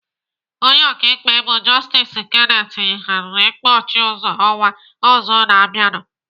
Onye ọkaikpe bụ Justice Kenneth yigharịrị ikpe Ọchịuzo ọnwa ọzọ na-abịanụ.